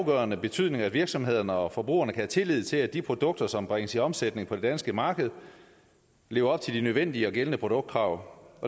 afgørende betydning at virksomhederne og forbrugerne kan have tillid til at de produkter som bringes i omsætning på det danske marked lever op til de nødvendige og gældende produktkrav